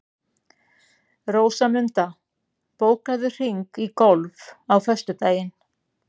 Rósmunda, bókaðu hring í golf á föstudaginn.